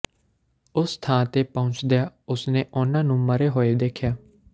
ਉਸ ਥਾਂ ਤੇ ਪਹੁੰਚਦਿਆਂ ਉਸਨੇ ਉਨ੍ਹਾਂ ਨੂੰ ਮਰੇ ਹੋਏ ਦੇਖਿਆ